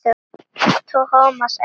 Thomas elti.